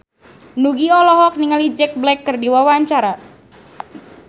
Nugie olohok ningali Jack Black keur diwawancara